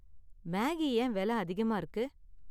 Maggi ஏன் விலை அதிகமா இருக்கு?